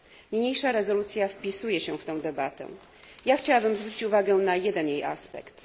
Niniejsza rezolucja wpisuje się w tę debatę. Ja chciałabym zwrócić uwagę na jeden jej aspekt.